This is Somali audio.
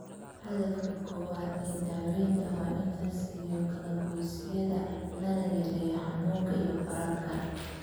Hadafka koowaad ee daawaynta waa in la nasiyo kala-goysyada lana yareeyo xanuunka iyo bararka.